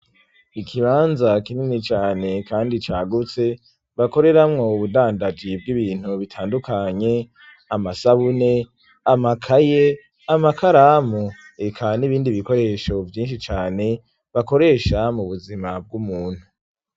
Ikibanza kinini cane kandi cagutse bakoreramwo ubudandaji bw'ibintu bitandukanye amasabune, amakaye amakaramu, eka n'ibindi bikoresho vyinshi cane bakoresha mu buzima bw'umuntu.